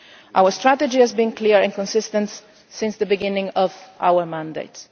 Our strategy has been clear and consistent since the beginning of our mandate.